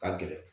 Ka gɛlɛn